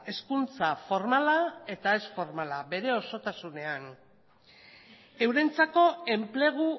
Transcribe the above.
hezkuntza formala eta ez formala bere osotasunean eurentzako enplegu